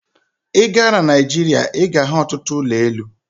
I gaa na Nigeria, I ga-ahu ọtụtụ ụlọ elu